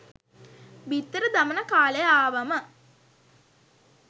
බිත්තර දමන කාලය ආවම